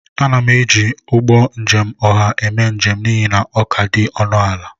Ana m eji ụgbọ njem ọha na-eme njem n'ihi na ọ ka dị ọnụ ala